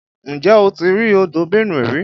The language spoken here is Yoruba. Ǹjẹ́ o ti rí odò Benue rí?